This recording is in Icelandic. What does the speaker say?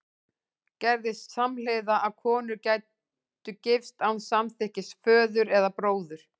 Gerðist samhliða að konur gætu gifst án samþykkis föður eða bróður?